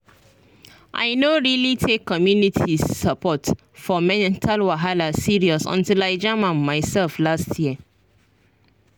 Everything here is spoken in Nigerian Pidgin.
i no really take community support for mental wahala serious until i jam am myself last year.